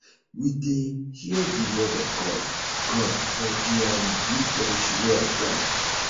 we dey hear di word of god god for di um youth fellowship wey i join